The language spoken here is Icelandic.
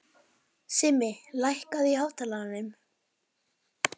Simmi, lækkaðu í hátalaranum.